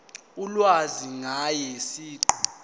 ulwazi ngaye siqu